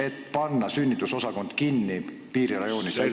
... et panna sünnitusosakond piirirajoonis kinni?